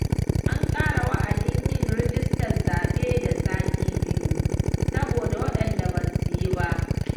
An ƙara wa'adin yin rijistar zaɓe da sati biyu, saboda waɗanda ba su yi ba.